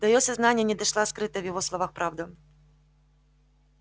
до её сознания не дошла скрытая в его словах правда